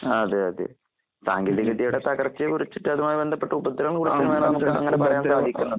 അതേയതേ. സാങ്കേതികവിദ്യയുടെതകർച്ചയെകുറിച്ചിട്ട് അതുമായിബന്ധപ്പെട്ട് ഉപദ്രവംകൂടെ നമുക്ക് അങ്ങനെപറയാൻസാധിക്കുന്നതാണ്.